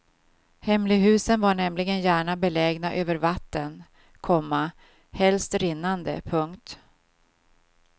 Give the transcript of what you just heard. Hemlighusen var nämligen gärna belägna över vatten, komma helst rinnande. punkt